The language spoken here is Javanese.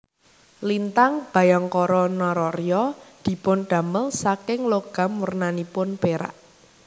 Lintang Bhayangkara Nararya dipundamel saking logam wernanipun perak